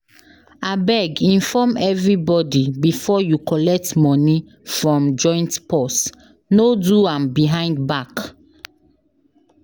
Abeg inform everybody before you collect money from joint purse, no do am behind back.